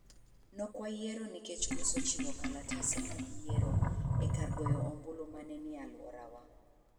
Nokwayiero nikech koso ochiw kalatese mag yiero e kar goyo ombulu ma ne ni e alworawa.